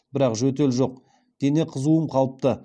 бірақ жөтел жоқ дене қызуым қалыпты